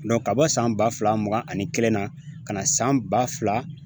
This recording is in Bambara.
ka bɔ san ba fila mugan ani kelen na ka na san ba fila